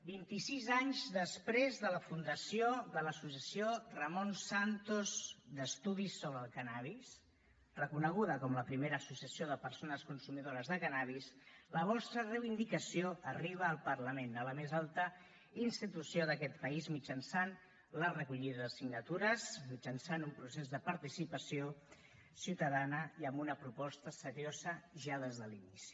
vint i sis anys després de la fundació de l’associació ramon santos d’estudis sobre el cànnabis reconeguda com la primera associació de persones consumidores de cànnabis la vostra reivindicació arriba al parlament a la més alta institució d’aquest país mitjançant la recollida de signatures mitjançant un procés de participació ciutadana i amb una proposta seriosa ja des de l’inici